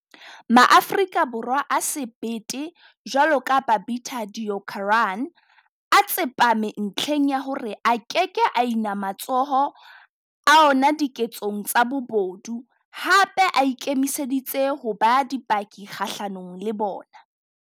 MaAfrika Borwa a sebete jwalo ka Babita Deokaran a tsepame ntlheng ya hore a keke a ina matsoho a ona diketsong tsa bobodu, hape a ikemiseditse ho ba dipaki kgahlanong le bona.